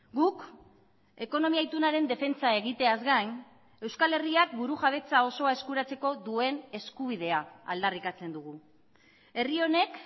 guk ekonomia itunaren defentsa egiteaz gain euskal herriak burujabetza osoa eskuratzeko duen eskubidea aldarrikatzen dugu herri honek